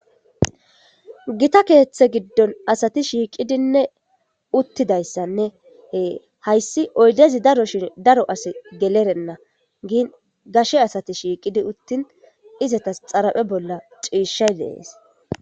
Gita keeththe giddon asati shiiqidinne uttidayssannee hayssi oydezi daro shin daro asi gelerenna. Giin gashe asati shiiqidi uttin izatas xaraphe bolla ciishay dees.